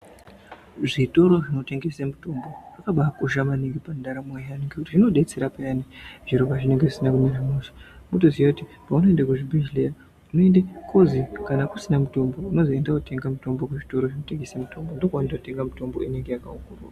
Zvitoro zvinotengese mutombo zvakabaa kosha maningi pandamo yaantu ngekuti zvinodetsera payani zviro pazvinenge zvisina kumira mushe mwotoziye kuti paunoende kuzvibhedhleya unoende kozi kana kusina mutombo unozi enda wotenga mutombo kuzvitoro zvinotengesa mutombo ndokwaanototenga mutombo inenga yakaongororwa.